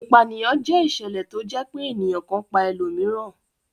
Ìpanìyàn jẹ́ ìṣẹ̀lẹ̀ tó jẹ́ pé ènìyàn kan pa ẹlòmíràn.